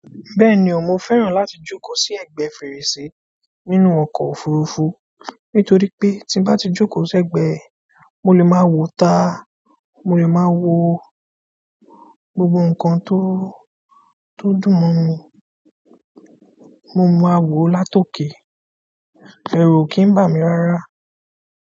Bẹ́ẹ̀ni o, mo fẹ́ràn láti jókòó sí ẹ̀gbẹ́ fèrèsé nínú ọkọ̀ òfurufú, nítorí'pé tí n bá ti n bá jókòó sẹ́gbẹ̀ẹ́, mo lè máa wò'ta, mo lè máa wo gbogbo nǹkan tó— tó dùn mọ́ mi mo máa wòó látòkè, ẹ̀rù ò kì í bà mí rárá.